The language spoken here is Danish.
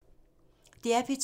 DR P2